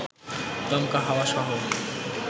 দমকা হাওয়াসহ